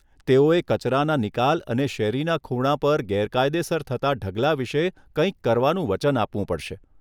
તેઓએ કચરાના નિકાલ અને શેરીના ખૂણા પર ગેરકાયદેસર થતાં ઢગલા વિશે કંઈક કરવાનું વચન આપવું પડશે.